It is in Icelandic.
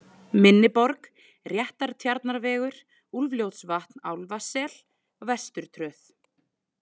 Minni Borg, Réttartjarnarvegur, Úlfljótsvatn Álfasel, Vesturtröð